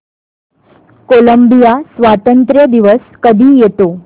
Colombia स्वातंत्र्य दिवस कधी येतो